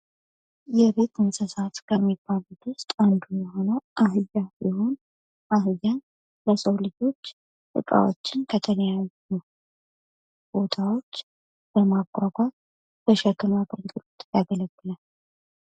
የቤት እንስሳት ከሚባሉት ውስጥ አንዱ የሆነው አህያ ሲሆን አህያ የሰው ልጆችህን እቃዎችን ከተለያዩ ቦታዎች በማጓጓዝ ለተሸክም አገልግሎት ያገለግላል።